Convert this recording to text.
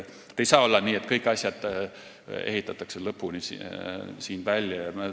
Ei saa olla nii, et kõik asjad ehitatakse lõpuni siin valmis.